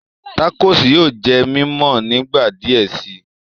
Tacos yóò jẹ mímọ nígbà diẹ sí